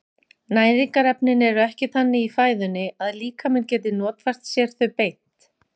Næringarefnin eru ekki þannig í fæðunni að líkaminn geti notfært sér þau beint.